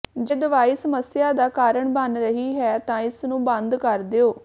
ਜੇ ਦਵਾਈ ਸਮੱਸਿਆ ਦਾ ਕਾਰਨ ਬਣ ਰਹੀ ਹੈ ਤਾਂ ਇਸ ਨੂੰ ਬੰਦ ਕਰ ਦਿਓ